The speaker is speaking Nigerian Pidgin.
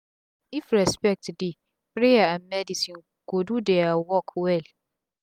if respect dey prayer and medicine go do dia work well